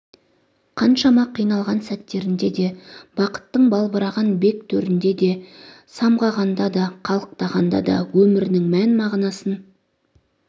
қаншама қиналған сәттерінде де бақыттың балбыраған бек төрінде де самғағанда да қалықтағанда да өмірінің мән мағынасын